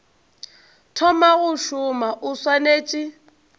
thoma go šoma o swanetše